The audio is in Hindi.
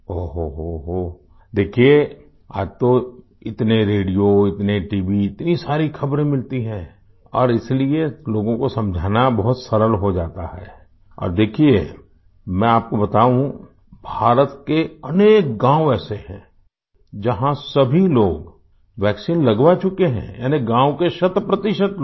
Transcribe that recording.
ओहोहो देखिये आज तो इतने रेडियो इतने टीवी इतनी सारी खबरें मिलती हैं और इसलिए लोगों को समझाना बहुत सरल हो जाता है और देखिये मैं आपको बताऊँ भारत के अनेक गाँव ऐसे हैं जहाँ सभी लोग वैक्सीन लगवा चुके है यानी गाँव के शत प्रतिशत लोग